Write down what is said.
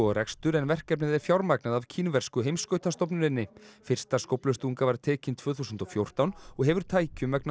rekstur en verkefnið er fjármagnað af kínversku fyrsta skóflustunga var tekin tvö þúsund og fjórtán og hefur tækjum vegna